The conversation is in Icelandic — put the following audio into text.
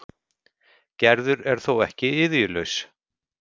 Gerður er þó ekki iðjulaus.